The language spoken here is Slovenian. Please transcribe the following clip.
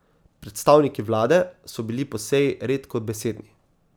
Predstavniki vlade so bili po seji redkobesedni.